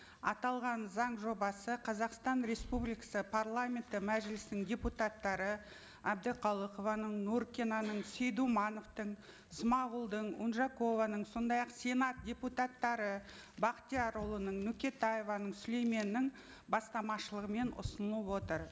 аталған заң жобасы қазақстан республикасы парламенті мәжілісінің депутаттары әбдіқалықованың нуркинаның сейдумановтың смағұлдың унжакованың сондай ақ сенат депутаттары бақтиярұлының нөкетаеваның сүлейменнің бастамашылығымен ұсынылып отыр